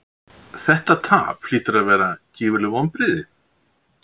Þetta tap hlýtur að vera gífurleg vonbrigði?